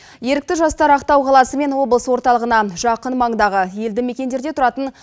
ерікті жастар ақтау қаласы мен облыс орталығына жақын маңдағы елді мекендерде тұратын